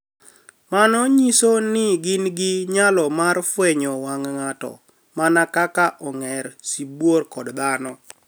Mano niyiso nii gini gi niyalo mar fweniyo wanig' nig'ato mania kaka onig'er ,sibuor, kod dhano.